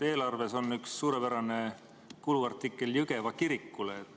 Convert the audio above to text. Eelarves on üks suurepärane kuluartikkel Jõgeva kirikule.